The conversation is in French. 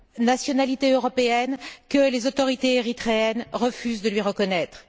nationalité européenne que les autorités érythréennes refusent de lui reconnaître.